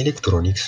ኤሌክትሮኒክስ